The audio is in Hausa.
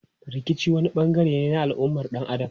Rikici wani bangare ne na al'ummar dan Adam.